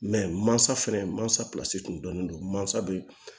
mansa fɛnɛ mansa kun dɔnnen don masa bɛ